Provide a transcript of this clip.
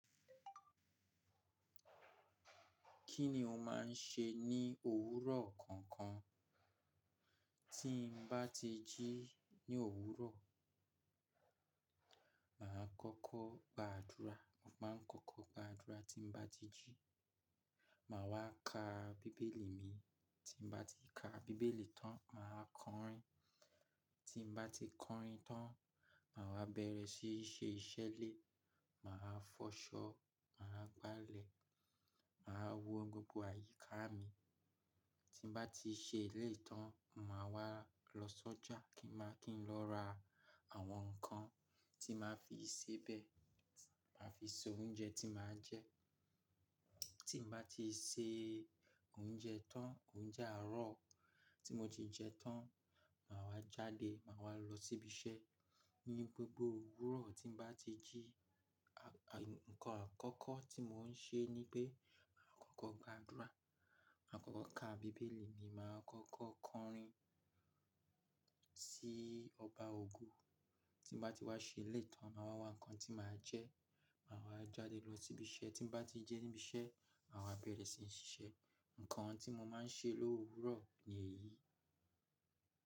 Kí ni o máa ń ṣe ní òwúrọ̀ kọ̀ọ̀kan? Tí ń bá ti jí ní òwúrọ̀, màá kọ́kọ́ gbàdúrà. Mo máa ń kọ́kọ́ gbàdúrà tí ń bá ti jí. Màá wá ka bíbélì mi, tí ń bá ti ka bíbélì tán, màá kọrin. Tí ń bá tí kọrin tán máa wà bẹ̀rẹ̀ sí ní ṣe iṣẹ́ ilé Màá fọṣọ, màá gbálẹ̀, màá wo gbogbo àyíká mi. Tí ń bá ti ṣe èlèyii tán, màá wá lọ sọ́jà kí n máà kín lọ ra àwọn nǹkan tí màá fi sebẹ̀, tí màá fi ṣe oúnjẹ tí màá jẹ. Tí n bá ti ṣe oúnjẹ tán, oúnjẹ àárọ̀ tí mo ti jeun tán, màá wá jáde, màá wá lọ síbi iṣẹ́. Ní gbogbo òwúrọ̀ tí n bá ti jí, à, nǹkan àkọ́kọ́ tí mò ń ṣe ní pé màá kọ́kọ́ gbàdúrà, màá kọ́kọ́ ka bíbélì mi, màá kọ́kọ́ kọrin sí Ọba ògo Tí n bá ti wá ṣe èlèyii tán, màá wa nǹkan tí màá jẹ, màá wá jáde lọ síbi iṣẹ́. Tí n bá ti dé ibi iṣẹ́, màá wá bẹ̀rẹ̀ sí ní ṣiṣẹ́. Ǹǹkan tí mo máa ń ṣe l'òwúrọ̀ ni èyí.